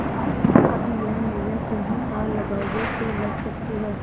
अब यह नैया तुम्ही पार लगाओगे तो लग सकती है